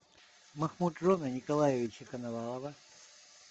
махмуджона николаевича коновалова